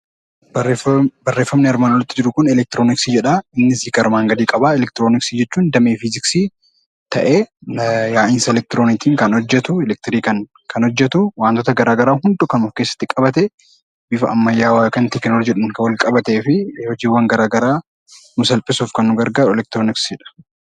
Barreeffamni armaan olitti jiru kun elektirooniksii jedha. Innis hiika armaan gadii qaba. Elektirooniksii jechuun damee Fiiziksii ta'ee, yaa'insa elektirooniksiin kan hojjetu, wantoota garaa garaa hunda kan of keessatti qabate, bifa ammayyaa teknooloojiidhaan kan walqabatee fi hojiiwwan garaa garaa nuu salphisuuf nu gargaarudha.